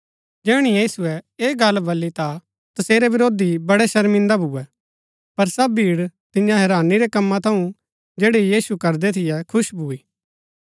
जैहणै यीशुऐ ऐह गल्ला बल्ली ता तसेरै विरोधी बड़ै शर्मिन्दा भुऐ पर सब भीड़ तियां हैरानी रै कम्मा थऊँ जैड़ै यीशु करदै थियै खुश भूई